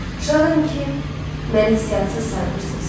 Şadam ki, məni hisssiz saymırsınız.